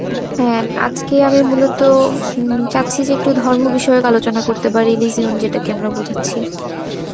হ্যাঁ, আজকে আমি মূলত হম চাচ্ছি যে একটু ধর্ম বিষয়ক আলোচনা করতে পারি, region যেটাকে আমরা বোঝাচ্ছে.